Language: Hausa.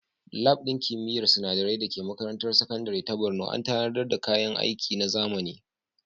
Lab ɗin kimiyyar sinadarai da ke makarantar sakandare ta Borno an tanadar da kayan aiki na zamani.